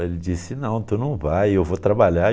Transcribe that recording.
Ele disse, não, tu não vai, eu vou trabalhar.